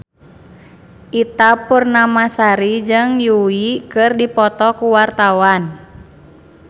Ita Purnamasari jeung Yui keur dipoto ku wartawan